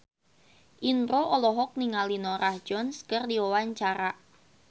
Indro olohok ningali Norah Jones keur diwawancara